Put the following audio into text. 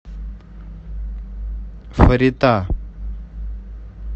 фарита